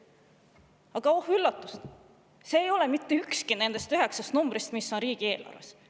Aga oh üllatust, see ei ole mitte ükski nendest üheksast numbrist, mis on riigieelarves!